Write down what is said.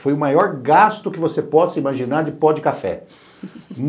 Foi o maior gasto que você possa imaginar de pó de café.